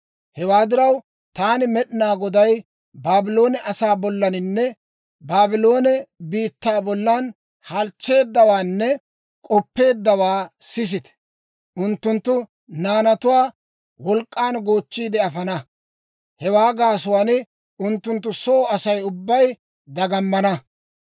Hewaa diraw, taani Med'inaa Goday Baabloone asaa bollaninne Baabloone biittaa bollan halchcheeddawaanne k'oppeeddawaa sisite! Unttunttu naanatuwaa wolk'k'an goochchiide afana; hewaa gaasuwaan unttunttu soo Asay ubbay dagamana.